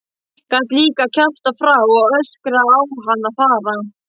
Gat líka kjaftað frá og öskraði á hann að fara.